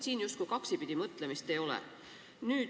Siin justkui kaksipidi mõtlemist ei ole.